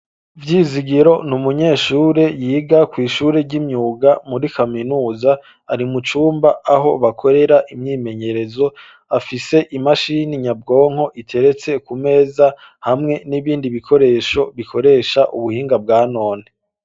Vyizigiro, ni umunyeshure, yiga kw’ishure ry'imyuga, muri kaminuza; ari mu cumba, aho bakorera, imyimenyerezo, afise imashini nyabwonko, iteretse ku meza, hamwe n'ibindi bikoresho, bikoresha ubuhinga, bwa none.